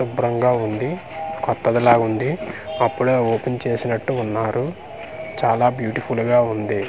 శుభ్రంగా ఉంది కొత్తది లాగుంది అప్పుడే ఓపెన్ చేసినట్టుగున్నారు చాలా బ్యూటిఫుల్ గా ఉంది.